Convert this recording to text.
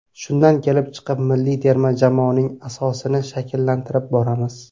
Shundan kelib chiqib milliy terma jamoaning asosini shakllantirib boramiz.